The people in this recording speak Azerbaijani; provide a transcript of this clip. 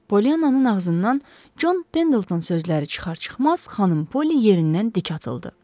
Polyannanın ağzından Con Pendleton sözləri çıxar-çıxmaz xanım Poli yerindən dik atıldı.